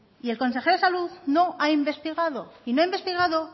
y el consejero de salud no ha investigado y no ha investigado